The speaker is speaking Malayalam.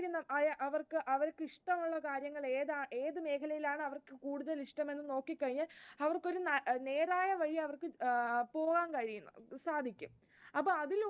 അവർക്ക് ഇഷ്ടമുള്ള കാര്യങ്ങൾ ഏതാണ് ഏതു മേഖലയിലാണ് അവർക്ക് കൂടുതൽ ഇഷ്ടം എന്ന് നോക്കി കഴിഞ്ഞാൽ അവർക്കു നേരായ വഴി അവർക്ക് പോവാൻ കഴിയും സാധിക്കും